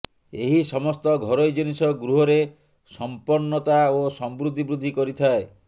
ଏହି ସମସ୍ତ ଘରୋଇ ଜିନିଷ ଗୃହରେ ସମ୍ପନ୍ନତା ଓ ସମୃଦ୍ଧି ବୃଦ୍ଧି କରିଥାଏ